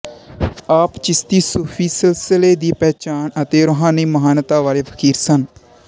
ਆਪ ਚਿਸ਼ਤੀ ਸੂਫ਼ੀ ਸਿਲਸਿਲੇ ਦੀ ਪਹਿਚਾਣ ਅਤੇ ਰੂਹਾਨੀ ਮਹਾਨਤਾ ਵਾਲੇ ਫ਼ਕੀਰ ਸਨ